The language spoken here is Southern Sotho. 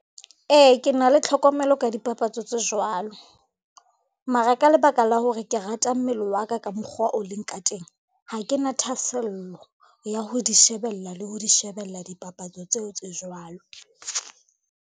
Ee, ke na le tlhokomelo ka dipapatso tse jwalo, mara ka lebaka la hore ke rata mmele wa ka ka mokgwa o leng ka teng, ha ke na thahasello ya ho di shebella le ho di shebella dipapatso tseo tse jwalo.